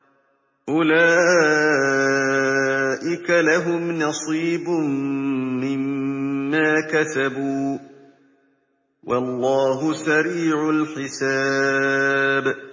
أُولَٰئِكَ لَهُمْ نَصِيبٌ مِّمَّا كَسَبُوا ۚ وَاللَّهُ سَرِيعُ الْحِسَابِ